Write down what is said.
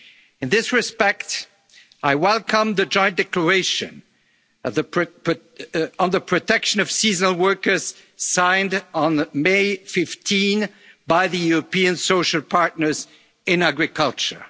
for such workers. In this respect, I welcome the joint declaration on the protection of seasonal workers signed on 15 May by the European social partners